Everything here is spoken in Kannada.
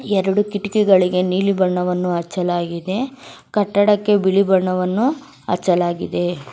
ಎರಡು ಕಿಟ್ಟಕಿಗಳಿಗೆ ನೀಲಿ ಬಣ್ಣವನ್ನು ಹಚ್ಚಲಾಗಿದೆ ಕಟ್ಟಡಕ್ಕೆ ಬಿಳಿ ಬಣ್ಣವನ್ನು ಹಚ್ಚಲಾಗಿದೆ.